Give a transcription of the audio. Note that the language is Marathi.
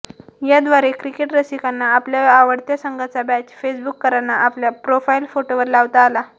याद्वारे क्रिकेट रसिकांना आपल्या आवडत्या संघाचा बॅच फेसबूककरांना आपल्या प्रोफाईल फोटोवर लावता आला